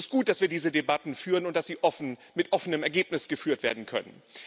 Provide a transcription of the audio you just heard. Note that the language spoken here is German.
Es ist gut, dass wir diese Debatten führen und dass sie offen, mit offenem Ergebnis geführt werden können.